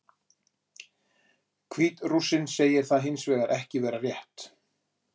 Hvít-Rússinn segir það hins vegar ekki vera rétt.